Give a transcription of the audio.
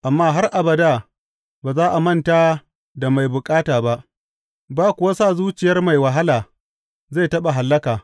Amma har abada ba za a manta da mai bukata ba, ba kuwa sa zuciyar mai wahala zai taɓa hallaka.